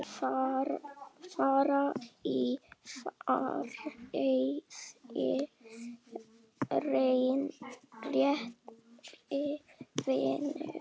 Far í friði, kæri vinur.